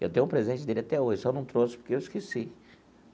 Eu tenho um presente dele até hoje, só não trouxe porque eu esqueci.